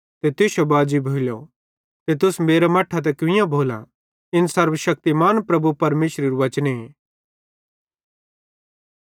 ते तुश्शो बाजी भोइलो ते तुस मेरां मट्ठां ते कुइयां भोलां इन सर्वशक्तिमान प्रभु परमेशरेरू वचने